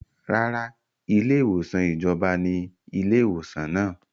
Rárá, ilé ìwòsàn ìjọba ní ilé ìwòsàn náà